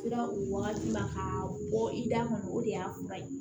Sera o wagati ma ka bɔ i da kɔnɔ o de y'a kuma ye